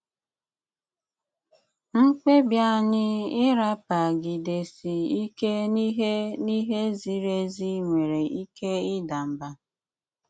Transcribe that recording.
Mkpébi ányị́ ị́rapagidési íké n'íhé n'íhé zíri ézí nwéré íké ịda mbá.